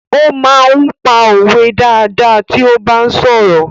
Ó máa ń pa òwe dáadáa tí ó bá ń sọ̀rọ̀.